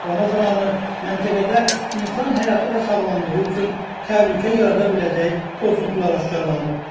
Yoxlama zamanı məntəqədə insan həyatı və sağlamlığı üçün təhlükə yarada biləcək pozuntular aşkarlanıb.